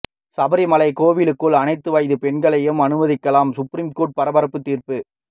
சபரிமலை கோவிலுக்குள் அனைத்து வயது பெண்களையும் அனுமதிக்கலாம் சுப்ரீம் கோர்ட் பரபரப்பு தீர்ப்பு